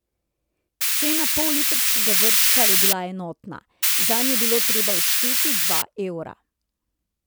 Cena pollitrskega vrčka je bila enotna, zanj je bilo treba odšteti dva evra.